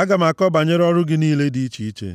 Aga m akọ banyere ọrụ gị niile dị iche iche.